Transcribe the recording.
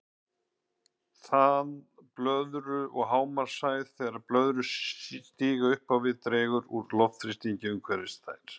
Þan blöðru og hámarkshæð Þegar blöðrur stíga upp á við dregur úr loftþrýstingi umhverfis þær.